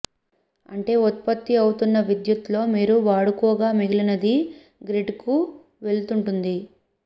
అంటే ఉత్పత్తి అవుతున్న విద్యుత్ లో మీరు వాడుకోగా మిగిలినది గ్రిడ్ కు వెళుతుంటుంది